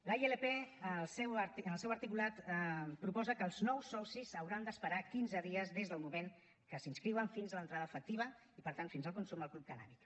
la ilp en el seu articulat proposa que els nous socis hauran d’esperar quinze dies des del moment que s’inscriuen fins a l’entrada efectiva i per tant fins al consum al club cannàbic